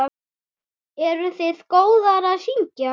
Eruð þið góðar að syngja?